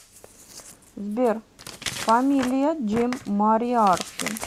сбер фамилия джим мориарти